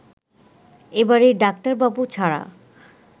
এবারে ডাক্তারবাবু ছাড়া